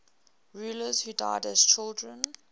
rulers who died as children